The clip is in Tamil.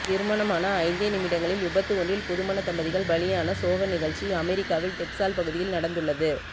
திருமணமான ஐந்தே நிமிடங்களில் விபத்து ஒன்றில் புதுமண தம்பதிகள் பலியான சோக நிகழ்ச்சி அமெரிக்காவில் டெக்ஸால் பகுதியில் நடந்துள்ளது